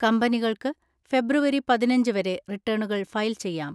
കമ്പനികൾക്ക് ഫെബ്രുവരി പതിനഞ്ച് വരെ റിട്ടേണുകൾ ഫയൽ ചെയ്യാം.